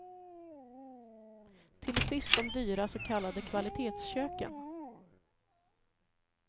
Till sist de dyra så kallade kvalitetsköken.